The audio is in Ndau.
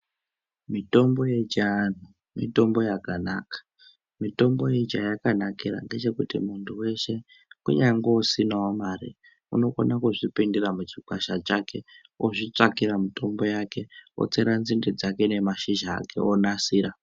Mitombo yechianhu mitombo yakanaka. Mitombo iyi chayakanakira ndechekuti muntu weshe kunyangwe usinawo mare unokona kuzvipindira muchikwasha chake ozvitsvakira mitombo yake otsera nzinde dzake nemashizha onasira.